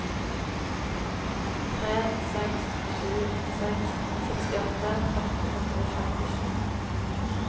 tre seks sju seks sekstiåtte åtte hundre og femtisju